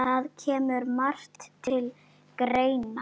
Það kemur margt til greina